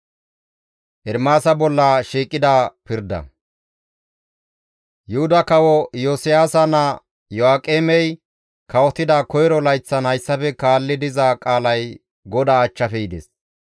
Yuhuda kawo Iyosiyaasa naa Iyo7aaqemey kawotida koyro layththan hayssafe kaalli diza qaalay GODAA achchafe yides.